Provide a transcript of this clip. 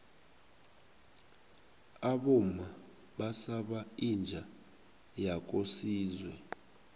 abomma basaba inja yakosizwe